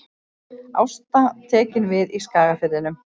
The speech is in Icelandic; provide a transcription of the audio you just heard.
Ásta tekin við í Skagafirðinum